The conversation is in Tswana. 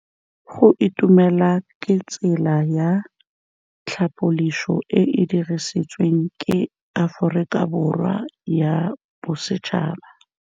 Go itumela ke tsela ya tlhapolisô e e dirisitsweng ke Aforika Borwa ya Bosetšhaba.